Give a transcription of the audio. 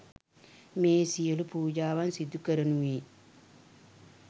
මේ සියලු පූජාවන් සිදු කරනුයේ